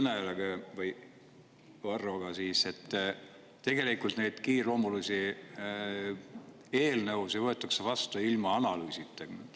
Ma olen nõus Varroga, et tegelikult meil kiireloomulisi eelnõusid võetakse vastu ilma analüüsita.